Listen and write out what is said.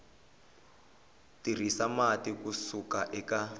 tirhisa mati ku suka eka